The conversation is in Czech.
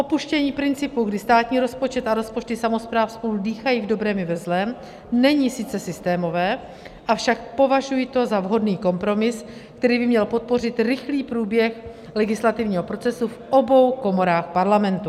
Opuštění principu, kdy státní rozpočet a rozpočty samospráv spolu dýchají v dobrém i ve zlém, není sice systémové, avšak považuji to za vhodný kompromis, který by měl podpořit rychlý průběh legislativního procesu v obou komorách Parlamentu.